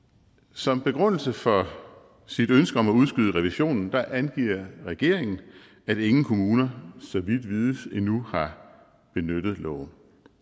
som begrundelse for sit ønske om at udskyde revisionen angiver regeringen at ingen kommuner så vidt vides endnu har benyttet loven